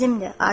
Bizimdir.